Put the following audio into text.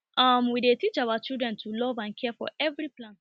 um we dey teach our children to love and care for every plant